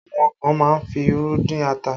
Àwọn kan má ń fi irú dín ata